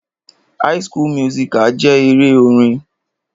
High school musical jẹ́ eré orin.